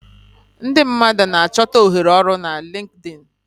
Ndị mmadụ na-achọta ohere ọrụ na Linkdin.